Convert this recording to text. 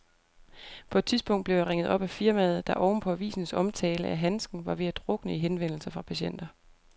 På et tidspunkt blev jeg ringet op af firmaet, der oven på avisens omtale af handsken var ved at drukne i henvendelser fra patienter.